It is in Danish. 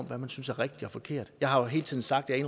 hvad man synes er rigtigt og forkert jeg har jo hele tiden sagt at